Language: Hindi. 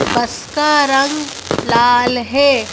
बस का रंग लाल है।